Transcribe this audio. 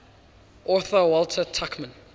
author walter tuchman